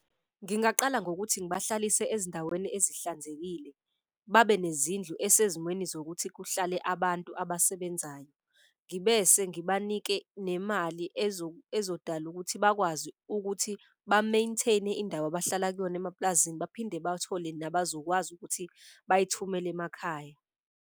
Ngingaqala ngokuthi ngibahlalise ezindaweni ezihlanzekile babe nezindlu esezimweni zokuthi kuhlale abantu abasebenzayo. Ngibese ngibanike nemali ezodala ukuthi bakwazi ukuthi ba-maintain-e indawo abahlala kuyona emapulazini, baphinde bathole nabazokwazi ukuthi bayithumele emakhaya.